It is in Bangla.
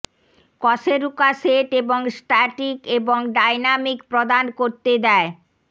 কশেরুকা সেট এবং স্ট্যাটিক এবং ডাইনামিক প্রদান করতে দেয়